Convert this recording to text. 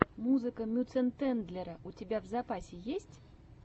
музыка мюцентендлера у тебя в запасе есть